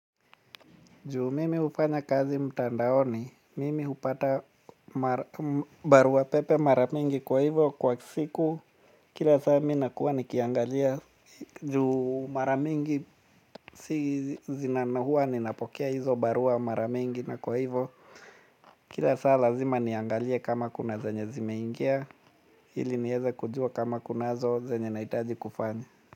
Juu mimi hufanya kazi mtandaoni, mimi hupata barua pepe mara mingi kwa hivyo kwa siku kila saa mi nakuwa nikiangalia juu mara mingi huwa ninapokea hizo barua mara mingi na kwa hivo kila saa lazima niangalie kama kuna zenye zimeingia ili nieze kujua kama kunazo zenye nahitaji kufanya.